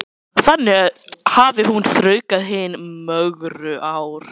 Þannig hafi hún þraukað hin mögru ár.